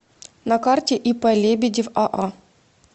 на карте ип лебедев аа